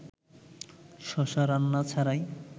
শশা রান্না ছাড়াই